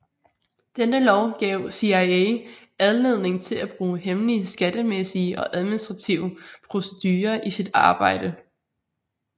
Denne lov gav CIA anledning til at bruge hemmelige skattemæssige og administrative procedurer i sit arbejde